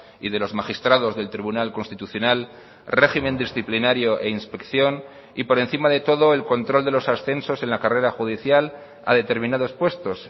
y de los magistrados del tribunal constitucional régimen disciplinario e inspección y por encima de todo el control de los ascensos en la carrera judicial a determinados puestos